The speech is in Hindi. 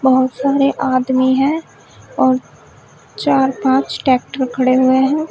बहुत सारे आदमी है और चार पांच ट्रैक्टर खड़े हुए है।